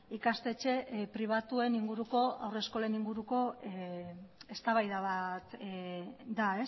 ikastetxe pribatuen inguruko haur eskolen inguruko eztabaida bat da